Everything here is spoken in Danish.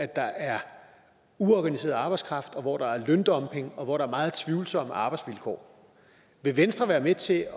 der er uorganiseret arbejdskraft hvor der er løndumping og hvor der er meget tvivlsomme arbejdsvilkår vil venstre være med til